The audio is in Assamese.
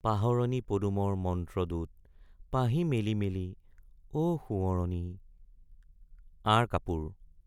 পাহৰণী পদুমৰ মন্ত্ৰদূত পাহি মেলি মেলি অ সোঁৱৰণী আঁৰ কাপোৰ